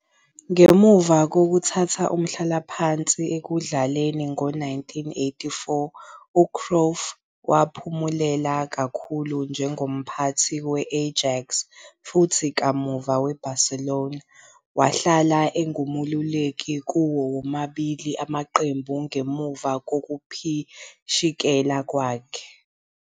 Ngemva kokuthatha umhlalaphansi ekudlaleni ngo-1984, uCruyff waphumelela kakhulu njengomphathi we-Ajax futhi kamuva weBarcelona, wahlala engumeluleki kuwo womabili amaqembu ngemuva kokuphishekela kwakhe.